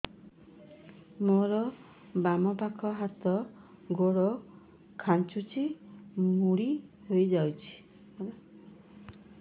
ମୋର ବାମ ପାଖ ହାତ ଗୋଡ ଖାଁଚୁଛି ମୁଡି ହେଇ ଯାଉଛି